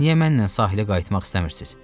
Niyə mənimlə sahilə qayıtmaq istəmirsiz?